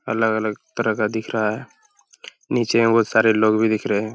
अलग-अलग तरह का दिख रहा है। नीचे में बहोत सारे लोग भी दिख रहें हैं।